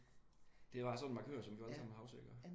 Det er bare sådan en markør som vi alle sammen husker iggås?